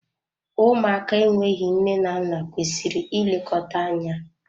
Ụmụaka enweghị nne na nna kwesịrị ị lekọta anya.